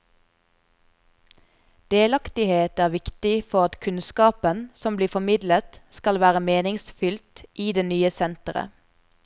Delaktighet er viktig for at kunnskapen som blir formidlet skal være meningsfylt i det nye senteret.